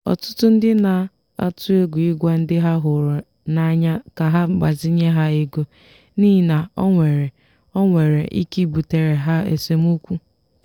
ọtụtụ ndị na-atụ egwu ịgwa ndị ha hụrụ n'anya ka ha gbazinye ha ego n'ihi na ọ nwere ọ nwere ike ibutere ha esemokwu.